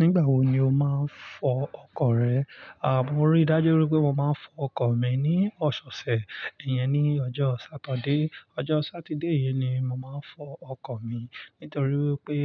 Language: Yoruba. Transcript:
Nígbà wo ni o máa ń fọ ọkọ̀ rẹ àh? Mo rí dájú wípé mo máa ń fọ ọkọ̀ mi ní ọ̀sẹ̀ ọ̀sẹ̀. Ìyẹn ní ọjọ́ Sátidé. Ọjọ́ Sátidé yìí ni mo máa ń fọ ọkọ̀ mi. Nítorí wípé